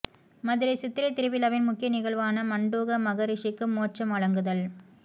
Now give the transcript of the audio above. மதுரை சித்திரை திருவிழாவின் முக்கிய நிகழ்வான மண்டூக மகரிஷிக்கு மோட்சம் வழங்குதல்